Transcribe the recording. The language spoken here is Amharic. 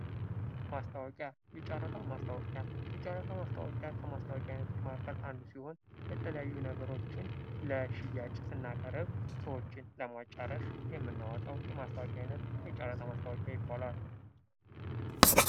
ማስታወቂያ የጨረታ ማስታወቂያ የጨረታ ማስታወቂያ ከማስታወቂያ አይነቶች መካከል አንዱ ሲሆን የተለያዩ ነገሮችን ለሽያጭ ስናቀርብ ሰዎችን የምናወጣው የማስታወቂያ አይነት የጨረታ ማስታወቂያ ይባላል ::